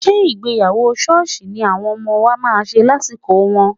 Ṣé ìgbéyàwó ṣọ́ọ̀ṣì ni àwọn ọmọ wa máa ṣe lásìkò wọn?